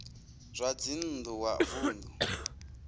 zwa dzinn ḓu wa vunḓu